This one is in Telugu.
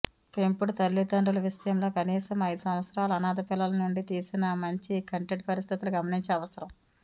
పెంపుడు తల్లిదండ్రులు విషయంలో కనీసం ఐదు సంవత్సరాలు అనాథ పిల్లల నుండి తీసిన మంచి కంటెంట్ పరిస్థితులు గమనించి అవసరం